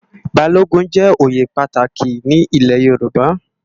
Bálógùn jè óyé pàtáki ni ilè Yoruba